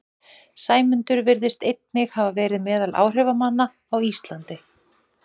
Sæmundur virðist einnig hafa verið meðal áhrifamanna á Íslandi.